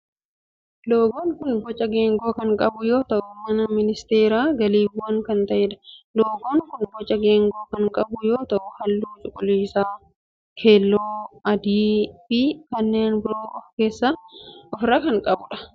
Loogoon kun boca geengoo kan qabu yoo ta'u kan ministeera galiiwwanii kan ta'edha. Loogoon kun boca geengoo kan qabu yoo ta'u halluu cuquliisa, keelloo, adii fi kanneen biroo of irraa kan qabudha.